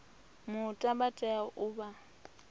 muta vha tea u vha